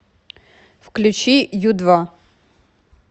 включи ю два